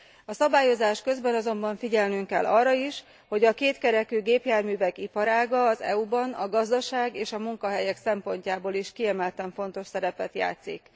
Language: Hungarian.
A szabályozás közben azonban figyelnünk kell arra is, hogy a kétkerekű gépjárművek iparága az EU ban a gazdaság és a munkahelyek szempontjából is kiemelten fontos szerepet játszik.